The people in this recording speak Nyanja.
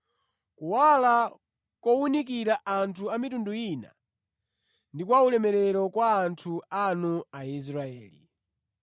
kuwala kowunikira anthu a mitundu ina ndi kwa ulemerero kwa anthu anu Aisraeli.”